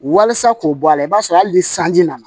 Walasa k'o bɔ a la i b'a sɔrɔ hali ni sanji nana